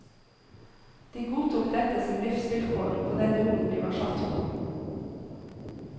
De godtok dette som livsvilkår på den jorden de var satt på.